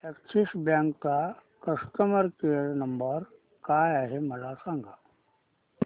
Axis bank चा customer care number काय आहे मला सांगा